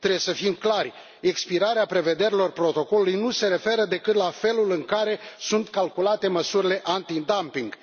Trebuie să fim clari expirarea prevederilor protocolului nu se referă decât la felul în care sunt calculate măsurile antidumping.